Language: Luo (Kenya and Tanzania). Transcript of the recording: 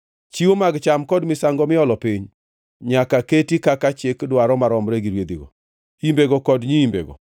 Chiwo mag cham kod misango miolo piny nyaka keti kaka chik dwaro maromre gi rwedhigo, imbego kod nyiimbego.